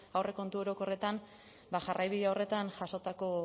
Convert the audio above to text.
aurrekontu orokorretan jarraibide horretan jasotako